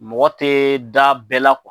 Mɔgɔ tɛ da bɛɛ la